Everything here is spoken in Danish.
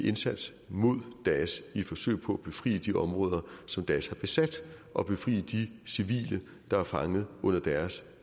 indsats mod daesh i et forsøg på at befri de områder som daesh har besat og befri de civile der er fanget under deres